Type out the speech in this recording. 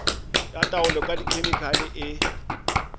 ya taolo ka dikhemikhale e